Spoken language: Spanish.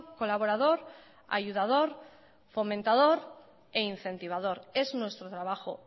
colaborador ayudador fomentador e incentivador es nuestro trabajo